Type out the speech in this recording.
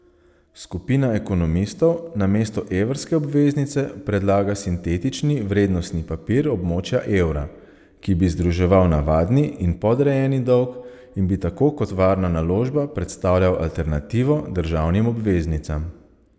Skupina ekonomistov namesto evrske obveznice predlaga sintetični vrednostni papir območja evra, ki bi združeval navadni in podrejeni dolg in bi tako kot varna naložba predstavljal alternativo državnim obveznicam.